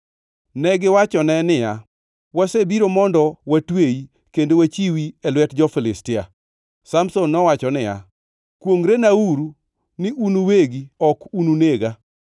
Negiwachone niya, “Wasebiro mondo watweyi kendo wachiwi e lwet jo-Filistia.” Samson nowacho niya, “Kwongʼrenauru ni un uwegi ok ununega.”